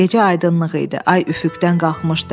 Gecə aydınlıq idi, ay üfüqdən qalxmışdı.